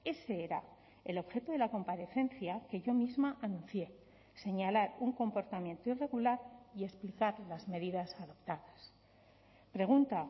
ese era el objeto de la comparecencia que yo misma anuncié señalar un comportamiento irregular y explicar las medidas adoptadas pregunta